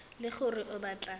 e le gore o batla